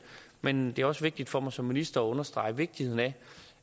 men det er også vigtigt for mig som minister at understrege vigtigheden af